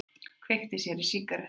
Kveikti sér í sígarettu.